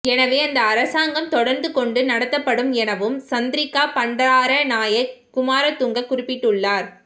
எனவே அந்த அரசாங்கம் தொடர்ந்தும் கொண்டு நடத்தப்படும் எனவும் சந்திரிக்கா பண்டாரநாயக்க குமாரதுங்க குறிப்பிட்டுள்ளார்